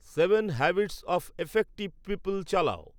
seven habits of effective people চালাও